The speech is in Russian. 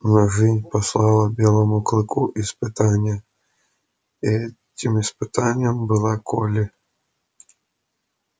но жизнь послала белому клыку испытание и этим испытанием была колли